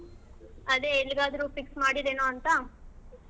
ಅದೇ ಎಲ್ಲಿಗಾದ್ರು fix ಮಾಡಿದಿಯೇನೋ ಅಂತ.